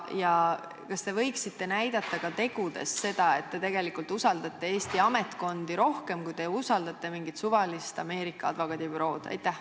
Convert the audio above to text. Ja kas te võiksite näidata ka tegudes seda, et te usaldate Eesti ametkondi rohkem, kui te usaldate mingit suvalist Ameerika advokaadibürood?